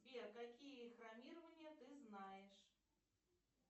сбер какие хромирования ты знаешь